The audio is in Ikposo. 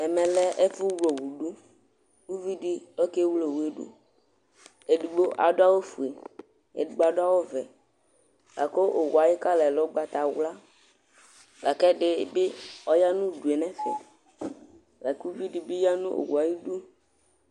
Ɛmɛ yɛ lɛ ɛfu wle owu ɖu Ku uʋiɖi oke wle owu yɛ ɖu Eɖigbo aɖu awu fue, eɖigbo aɖu awu ʋɛ Laku owu yɛ ayu kɔla yɛ lɛ ugbatawlã Laku ɛɖi bi ɔya nu uɖu yɛ nu ɛfɛ Laku uʋiɖi bi yã nu owu yɛ ayiɖu